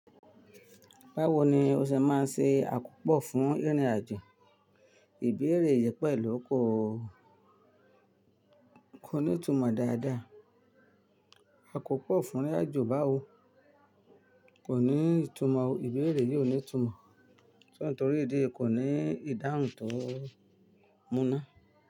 Báwo ni o se máa ń se àkópò fún ìrìn àjò? Ìbéèrè yìí pẹ̀lú kò ní ìtumọ̀ dáadáa. Àkópò fún ìrìn àjò báwo? Kò ní ìtumọ̀. Ìbéèrè yìí ò ní ìtumọ̀, torí ìdí eyi kò ní ìdáhùn tó múná.